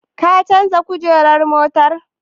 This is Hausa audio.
Ka canja kujerar motar?